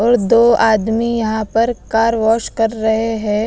और दो आदमी यहाँ पर कार वॉश कर रहे हैं।